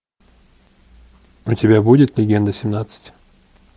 у тебя будет легенда семнадцать